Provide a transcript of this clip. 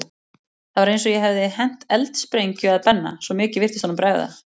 Það var eins og ég hefði hent eldsprengju að Benna, svo mikið virtist honum bregða.